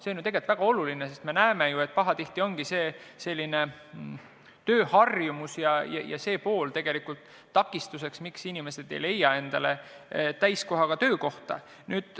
See on ju tegelikult väga oluline, sest me näeme, et pahatihti ongi just tööharjumus ja see pool takistuseks, miks inimesed ei leia endale täiskohaga töökohta.